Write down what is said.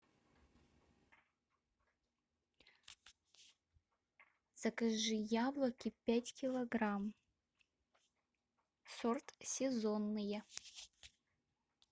закажи яблоки пять килограмм сорт сезонные